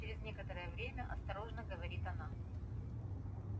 ир через некоторое время осторожно говорит она